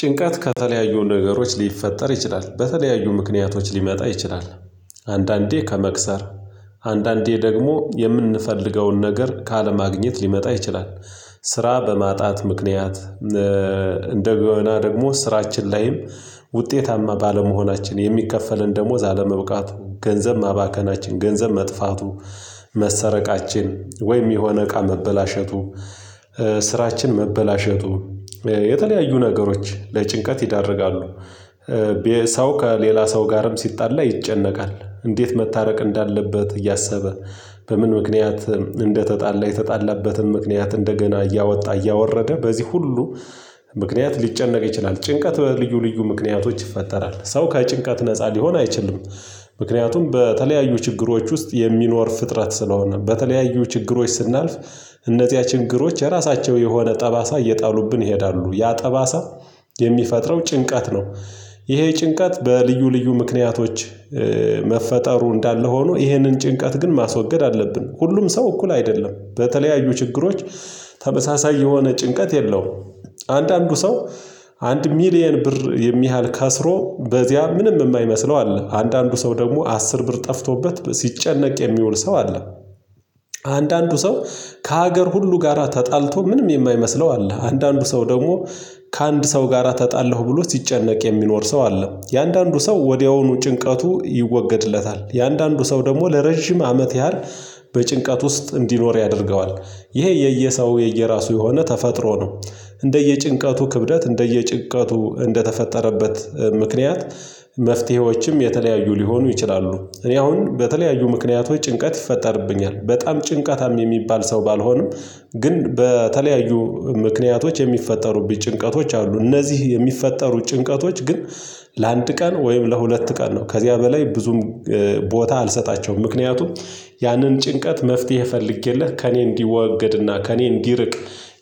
ጭንቀት ከተለያዩ ነገሮች ሊፈጠር ይችላል በተለያዩ ምክንያቶች ሊመጣ ይችላል። አንዳንዴ ከመክሰር አንዳንዴ ደግሞ የምንፈልገውን ነገር ካለማግኘት ሊመጣ ይችላል። ስራ በማጣት ምክንያት። እንደገና ደግሞ ስራችን ላይም ውጤታማ ባለመሆናችን የሚከፈለን ደሞዝ አለመብቃቱ ገንዘብ ማባከናችን ገንዘብ መጥፋቱ መሰረቃችን ወይም የሆነ እቃ መበላሸቱ። ስራችን መበላሸቱ የተለያዩ ነገሮች ለጭንቀት ይዳርጋሉ። ሰው ከሌላ ሰው ጋርም ሲጣላ ይጨነቃል። እንዴት መታረቅ እንዳለበት እያሰበ። በምን ምክንያት እንደተጣላ የተጣላበትም ምክንያት እንደገና እያወጣ እያወረደ በዚህ ሁሉ ምክንያት ሊጨነቅ ይችላል። ጭንቀት በልዩ ልዩ ምክንያቶች ይፈጠራል ሰው ከጭንቀት ነፃ ሊሆን አይችልም። ምክንያቱም በተለያዩ ችግሮች ውስጥ የሚኖር ፍጥረት ስለሆነ። በተለያዩ ችግሮች ስናልፍ እነዚያ ችግሮች የራሳቸው የሆነ ጠባሳ እየጣሉብን ይሄዳሉ። ያ ጠባሳ የሚፈጥረው ጭንቀት ነው። ይሄ ጭንቀት በልዩ ልዩ ምክንያቶች። መፈጠሩ እንዳለ ሆኖ ይሄንን ጭንቀት ግን ማስወገድ አለብን። ሁሉም ሰው እኩል አይደለም በተለያዩ ችግሮች ተመሳሳይ የሆነ ጭንቀት የለውም። አንዳንዱ ሰው አንድ ሚሊየን ብር የሚያህል ከስሮ በዚያ ምንም የማይመስለው አለ አንዳንዱ ሰው ደግሞ አስር ብር ጠፍቶበት ሲጨነቅ የሚውል ሰው አለ። አንዳንዱ ሰው ከሀገር ሁሉ ጋራ ተጣልቶ ምንም የማይመስለው አለ። አንዳንዱ ሰው ደግሞ ከአንድ ሰው ጋራ ተጣለው ብሎ ሲጨነቅ የሚኖር ሰው አለ። የአንዳንዱ ሰው ወዲያውኑ ጭንቀቱ ይወገድለታል። የአንዳንዱ ሰው ደግሞ ለረጅም አመት ያህል በጭንቀት ውስጥ እንዲኖር ያደርገዋል። ይሄ የየሰው የየራሱ የሆነ ተፈጥሮ ነው። እንደየጭንቀቱ ክብደት እንደየጭንቀቱ እንደተፈጠረበት ምክንያት መፍትሄዎችም የተለያዩ ሊሆኑ ይችላሉ። እኔ አሁን በተለያዩ ምክንያቶች ጭንቀት ይፈጠርብኛል በጣም ጭንቀታም የሚባል ሰው ባልሆንም። ግን በተለያዩ ምክንያቶች የሚፈጠሩብኝ ጭንቀቶች አሉ። እነዚህ የሚፈጠሩ ጭንቀቶች ግን ለአንድ ቀን ወይም ለሁለት ቀን ነው። ከዚያ በላይ ብዙም ቦታ አልሰጣቸውም። ምክንያቱም ያንን ጭንቀት መፍትሄ ፈልጌለት ከእኔ እንዲወገድና ከእኔ እንዲርቅ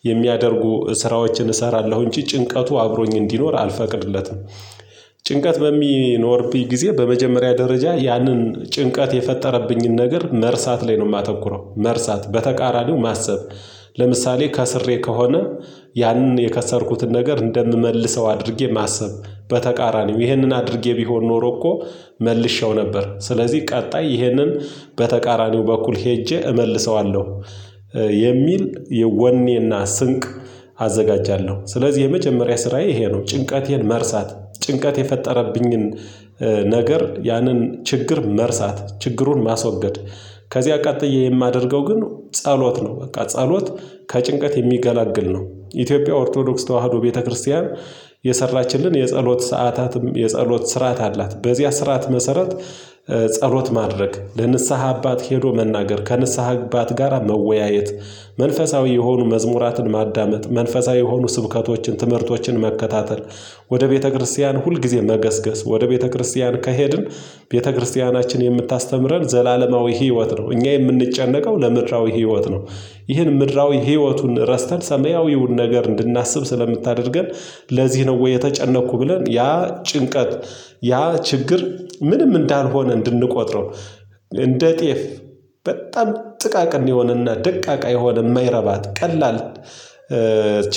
የሚያደርጉ ስራዎችን እሰራለሁ እንጂ ጭንቀቱ አብሮኝ እንዲኖር አልፈቅድለትም። ጭንቀት በሚኖርብኝ ጊዜ በመጀመሪያ ደረጃ ያንን ጭንቀት የፈጠረብኝን ነገር መርሳት ላይ ነው የማተኩረው። መርሳት በተቃራኒው ማሰብ ለምሳሌ ከስሬ ከሆነ ያንን የከሰርኩትን ነገር እንደምመልሰው አድርጌ ማሰብ በተቃራኒው ይህንን አድርጌ ቢሆን ኖሮ እኮ መልሼው ነበር ስለዚህ ቀጣይ ይህንን በተቃራኒው በኩል ሄጄ እመልሰዋለሁ። የሚል የወኔና ስንቅ አዘጋጃለሁ ስለዚህ የመጀመሪያ ስራዬ ይሄ ነው። ጭንቀቴን መርሳት ጭንቀት የፈጠረብኝን ነገር ያንን ችግር መርሳት ችግሩን ማስወገድ። ከዚህ ቀጥዬ የማደርገው ግን ጸሎት ነው። በቃ ጸሎት ከጭንቀት የሚገላግል ነው። ኢትዮጵያ ኦርቶዶክስ ተዋህዶ ቤተክርስቲያን የሰራችልን የጸሎት ሰዓታትም የጸሎት ስርዓት አላት። በዚያ ስርዓት መሰረት ጸሎት ማድረግ ለንስሃ አባት ሄዶ መናገር ከንስሐ አባት ጋራ መወያየት። መንፈሳዊ የሆኑ መዝሙራትን ማዳመጥ መንፈሳዊ የሆኑ ስብከቶችን ትምህርቶችን መከታተል ወደ ቤተክርስቲያን ሁልጊዜ መገስገስ ወደ ቤተክርስቲያን ከሄድን ቤተክርስቲያናችን የምታስተምረን ዘላለማዊ ህይወት ነው። እኛ የምንጨነቀው ለምድራዊ ህይወት ነው። ይሄን ምድራዊ ህይወቱን ረስተን ሰማያዊውን ነገር እንድናስብ ስለምታደርገን። ለዚህ ነው ወይ የተጨነቅኩ ብለን ያ ጭንቀት ያ ችግር ምንም እንዳልሆነ እንድንቆጥረው እንደ ጤፍ በጣም ጥቃቅን የሆነና ደቃቃ የሆነ የማይረባ ቀላል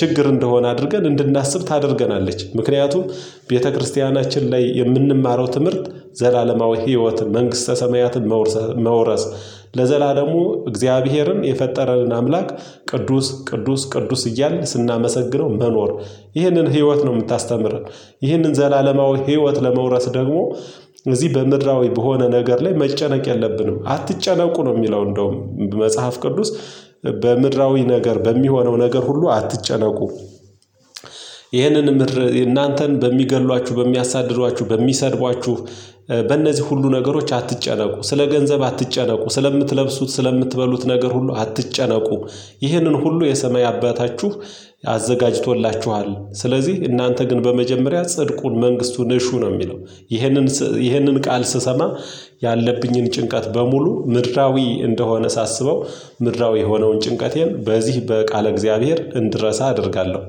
ችግር እንደሆነ አድርገን እንድናስብ ታደርገናለች። ምክንያቱም ቤተክርስቲያናችን ላይ የምንማረው ትምህርት። ዘላለማዊ ህይወትን መንግስተ ሰማያትን መውረስ መውረስ ለዘላለሙ እግዚአብሔርን የፈጠረንን አምላክ ቅዱስ ቅዱስ ቅዱስ እያልን ስናመሰግነው መኖር። ይህንን ህይወት ነው የምታስተምረን። ይህንን ዘላለማዊ ህይወት ለመውረስ ደግሞ እዚህ በምድራዊ በሆነ ነገር ላይ መጨነቅ የለብንም። አትጨነቁ ነው የሚለው። እንደውም መጽሐፍ ቅዱስ በምድራዊ ነገር በሚሆነው ነገር ሁሉ አትጨነቁ። ይህንን ምድር እናንተን በሚገድሏችሁ በሚያሳድዷችሁ በሚሰድቧችሁ በእነዚህ ሁሉ ነገሮች አትጨነቁ። ስለ ገንዘብ አትጨነቁ። ስለምትለብሱት ስለምትበሉት ነገር ሁሉ አትጨነቁ። ይህንን ሁሉ የሰማይ አባታችሁ አዘጋጅቶላችኋል። ስለዚህ እናንተ ግን በመጀመሪያ ጽድቁን መንግስቱ ነሹ ነው የሚለው። ይህንን ይህንን ቃል ስሰማ ያለብኝን ጭንቀት በሙሉ ምድራዊ እንደሆነ ሳስበው ምድራዊ የሆነውን ጭንቀቴን በዚህ በቃለ እግዚአብሔር እንድረሳ አደርጋለሁ።